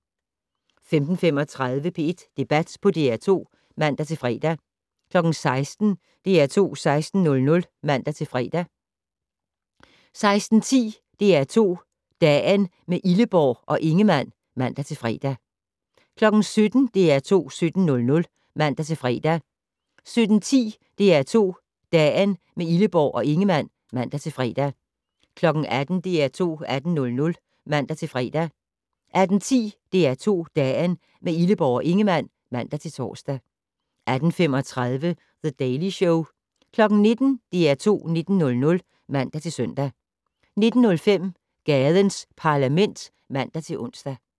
15:35: P1 Debat på DR2 (man-fre) 16:00: DR2 16:00 (man-fre) 16:10: DR2 Dagen - med Illeborg og Ingemann (man-fre) 17:00: DR2 17:00 (man-fre) 17:10: DR2 Dagen - med Illeborg og Ingemann (man-fre) 18:00: DR2 18:00 (man-fre) 18:10: DR2 Dagen - med Illeborg og Ingemann (man-tor) 18:35: The Daily Show 19:00: DR2 19:00 (man-søn) 19:05: Gadens Parlament (man-ons)